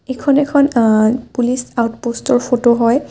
এইখন এখন আ পুলিচ আউটপষ্ট ৰ ফটো হয়।